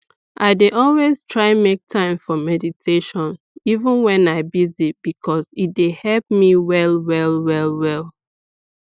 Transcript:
i dey always try make time for meditation even wen i busy because e dey help me well well well well